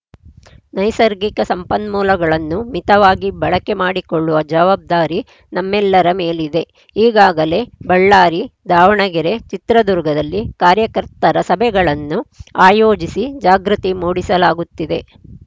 ನೈಸರ್ಗಿಕ ಸಂಪನ್ಮೂಲಗಳನ್ನು ಮಿತವಾಗಿ ಬಳಕೆ ಮಾಡಿಕೊಳ್ಳುವ ಜವಾಬ್ದಾರಿ ನಮ್ಮೆಲ್ಲರ ಮೇಲಿದೆ ಈಗಾಗಲೇ ಬಳ್ಳಾರಿ ದಾವಣಗೆರೆ ಚಿತ್ರದುರ್ಗದಲ್ಲಿ ಕಾರ್ಯಕರ್ತರ ಸಭೆಗಳನ್ನು ಆಯೋಜಿಸಿ ಜಾಗೃತಿ ಮೂಡಿಸಲಾಗುತ್ತಿದೆ